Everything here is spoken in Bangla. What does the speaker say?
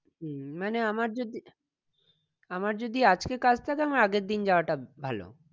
হম মানে আমার যদি আমার যদি আজকে কাজ থাকে আমার আগের দিন যাওয়াটা ভালো